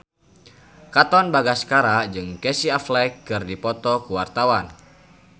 Katon Bagaskara jeung Casey Affleck keur dipoto ku wartawan